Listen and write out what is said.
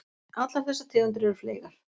Allar þessar tegundir eru fleygar.